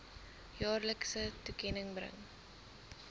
jaarlikse toekenning bring